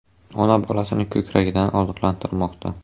Ona bolasini ko‘kragidan oziqlantirmoqda.